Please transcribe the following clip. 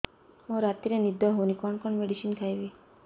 ମୋର ରାତିରେ ନିଦ ହଉନି କଣ କଣ ମେଡିସିନ ଖାଇବି